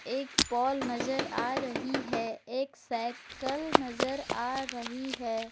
एक पोल नजर आ रही है एक साइकल नजर आ रही है।